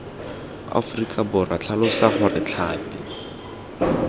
aforika borwa tlhalosa gore tlhapi